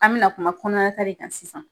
An bɛna kuma kɔnɔnakari kan sisan